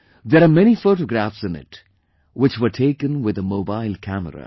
There are many photographs in it which were taken with a mobile camera